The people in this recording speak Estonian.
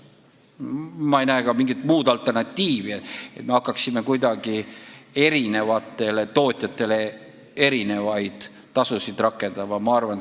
Ja ma ei näe ka mingit alternatiivi – näiteks et me hakkaksime eri tootjatele erinevaid tasusid kehtestama.